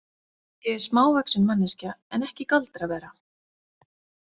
Ég er smávaxin manneskja en ekki galdravera.